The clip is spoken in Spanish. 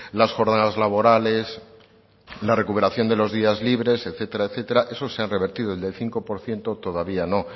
las jornadas laborales la recuperación de los días libres etcétera eso se han revertido el del cinco por ciento todavía no